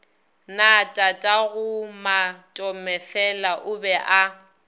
na tatagomatomefela o be a